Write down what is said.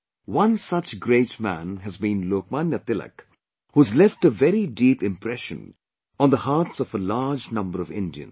One such great man has been Lok Manya Tilak who has left a very deep impression on the hearts of a large number of Indians